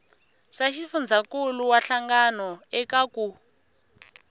swa xifundzankuluwa hlangano eka ku